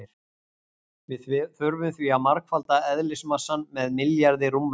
Við þurfum því að margfalda eðlismassann með milljarði rúmmetra.